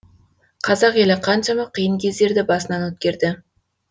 қазақ елі қаншама қиын кездерді басынан өткерді